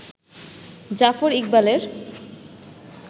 জাফর ইকবালের